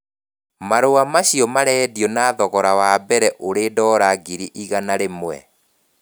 Marũa macio marendio na thogora wa mbere uri dora ngiri igana rĩmwe